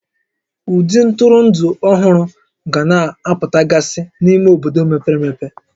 Ụdị ntụrụndụ ọhụrụ ga na-apụtagasị n'ime obodo mepere emepe